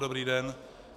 Dobrý den.